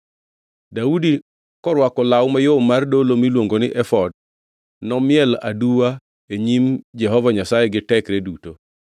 Daudi, korwako law mayom mar dolo miluongo ni efod, nomiel aduwa e nyim Jehova Nyasaye gi tekre duto,